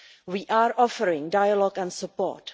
We are offering dialogue and support.